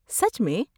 سچ میں؟